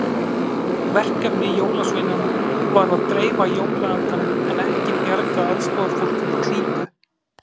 Verkefni jólasveinanna var að dreifa jólaandanum en ekki bjarga aðstoðarfólki úr klípu.